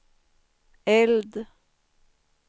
eld